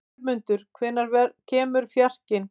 Jörmundur, hvenær kemur fjarkinn?